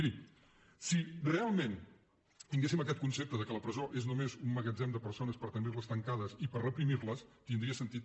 miri si realment tinguéssim aquest concepte que la presó és només un magatzem de persones per tenir les tancades i per reprimir les tindria sentit